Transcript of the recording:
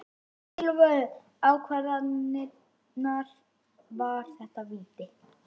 Mikilvægu ákvarðanirnar- var þetta víti?